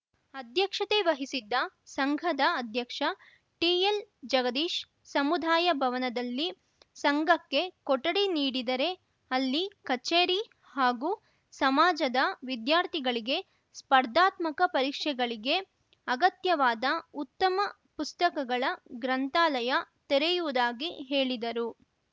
ಅಧ್ಯಕ್ಷತೆ ವಹಿಸಿದ್ದ ಸಂಘದ ಅಧ್ಯಕ್ಷ ಟಿಎಲ್‌ ಜಗದೀಶ್‌ ಸಮುದಾಯ ಭವನದಲ್ಲಿ ಸಂಘಕ್ಕೆ ಕೊಠಡಿ ನೀಡಿದರೆ ಅಲ್ಲಿ ಕಚೇರಿ ಹಾಗೂ ಸಮಾಜದ ವಿದ್ಯಾರ್ಥಿಗಳಿಗೆ ಸ್ಪರ್ಧಾತ್ಮಕ ಪರಿಕ್ಷೆಗಳಿಗೆ ಅಗತ್ಯವಾದ ಉತ್ತಮ ಪುಸ್ತಕಗಳ ಗ್ರಂಥಾಲಯ ತೆರೆಯುವುದಾಗಿ ಹೇಳಿದರು